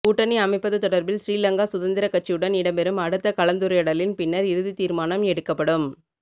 கூட்டணி அமைப்பது தொடர்பில் ஶ்ரீலங்கா சுதந்திர கட்சியுடன் இடம்பெறும் அடுத்த கலந்துரையாடலின் பின்னர் இறுதி தீர்மானம் எடுக்கப்படும்